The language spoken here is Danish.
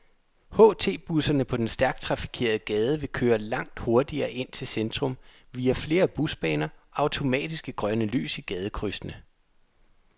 HTbusserne på den stærkt trafikerede gade vil køre langt hurtigere ind til centrum, via flere busbaner og automatiske grønne lys i gadekrydsene.